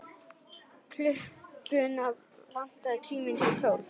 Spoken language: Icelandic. Klukkuna vantaði tíu mínútur í tólf.